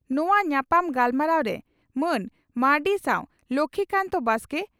ᱱᱚᱣᱟ ᱧᱟᱯᱟᱢ ᱜᱟᱞᱢᱟᱨᱟᱣ ᱨᱮ ᱢᱟᱱ ᱢᱟᱨᱱᱰᱤ ᱥᱟᱣ ᱞᱚᱠᱷᱢᱤᱠᱟᱱᱛ ᱵᱟᱥᱠᱮ